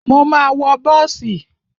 Mo ma wọ bọ́ọ̀sì.